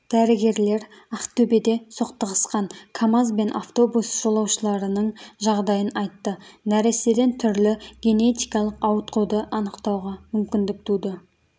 дәрігерлер ақтөбеде соқтығысқан камаз бен автобус жолаушыларының жағдайын айтты нәрестеден түрлі генетикалық ауытқуды анықтауға мүмкіндік туды